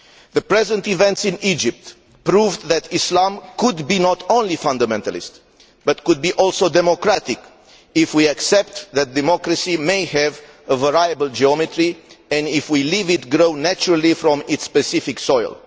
The present events in Egypt prove that Islam need not only be fundamentalist, but that it can also be democratic if we accept that democracy may have a variable geometry, and if we let it grow naturally from its specific soil.